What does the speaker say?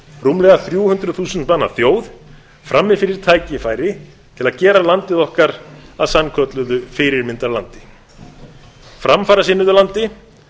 rúmlega þrjú hundruð þúsund manna þjóð frammi fyrir tækifæri til að gera landið okkar að sannkölluðu fyrirmyndarlandi framfarasinnuðu landi